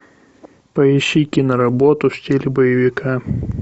поищи киноработу в стиле боевика